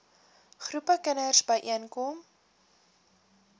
groepe kinders byeenkom